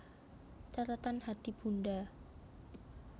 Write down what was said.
Catatan hati bunda